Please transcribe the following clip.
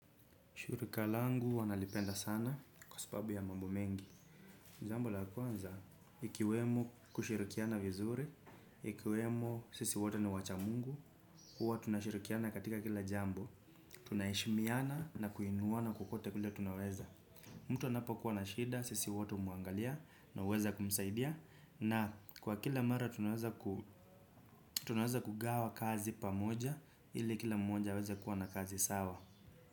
Shirika langu huwa nalipenda sana kwa sababu ya mambo mengi. Jambo la kwanza, ikiwemo kushirikiana vizuri, ikiwemo sisi wote ni wacha Mungu, uwa tunashirikiana katika kila jambo, tunaheshimiana na kuinuana kokote kule tunaweza. Mtu anapokuwa na shida, sisi wote umwangalia na uweza kumsaidia na kwa kila mara tunaweza kugawa kazi pamoja ili kila mmoja aweza kuwa na kazi sawa.